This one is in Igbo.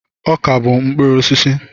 Ọka bụ mkpụrụ osisi.